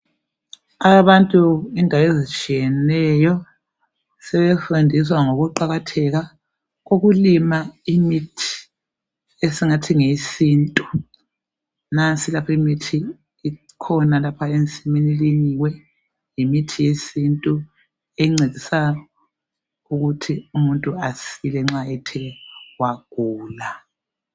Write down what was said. abantu indawo ezitshiyeneyo sebefundiswa ngokuqakatheka kokulima imithi esingathi ngeyesintu nasi lapha imithi ikhona ilinyiwe yimithi yesintu encedisa ukuthi umuntu asile nxa ethe wagula